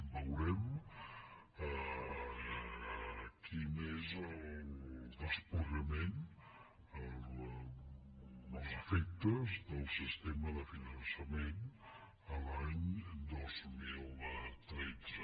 veurem quin és el desplegament els efectes del sistema de finançament l’any dos mil tretze